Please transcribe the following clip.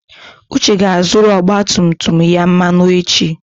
Uche ga-azụrụ ọgba tum tum ya mmanụ echi.